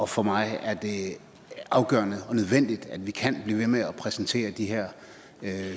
for mig er det afgørende og nødvendigt at vi kan blive ved med at præsentere de her